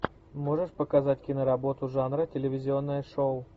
можешь показать киноработу жанра телевизионное шоу